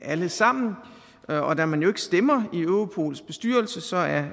alle sammen og da man jo ikke stemmer i europols bestyrelse er